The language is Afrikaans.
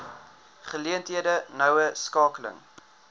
geleenthede noue skakeling